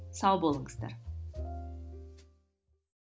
сау болыңыздар